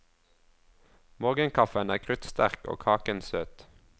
Morgenkaffen er kruttsterk og kaken søt.